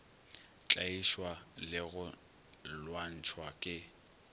tlaišwa le go lwantšhwa ke